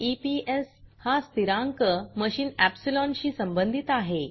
160eps हा स्थिरांक machine epsilonमशीन एप्सिलॉन शी संबंधित आहे